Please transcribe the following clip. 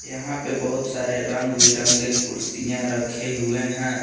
यहां पे बहुत सारे रंग बिरंगे कुर्सियां रखे हुए हैं।